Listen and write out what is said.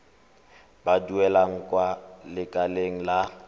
ba duelang kwa lekaleng la